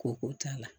Ko ko t'a la